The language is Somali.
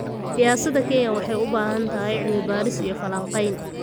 Siyaasadda Kenya waxay u baahan tahay cilmi-baadhis iyo falanqayn.